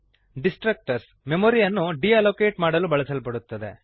destructors ಮೆಮೊರಿಯನ್ನು deallocate ಮಾಡಲು ಬಳಸಲ್ಪಡುತ್ತವೆ